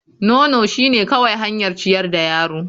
Nono shine kawai hanyar ciyar da yaro.